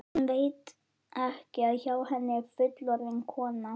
Hún veit ekki að hjá henni er fullorðin kona.